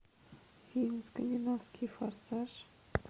фильм скандинавский форсаж